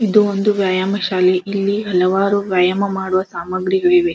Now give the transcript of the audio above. ಇದು ಒಂದು ವ್ಯಾಯಾಮ ಶಾಲೆ ಇಲ್ಲಿ ಹಲವಾರು ವ್ಯಾಯಾಮ ಮಾಡುವ ಸಾಮಗ್ರಿಗಳು ಇವೆ.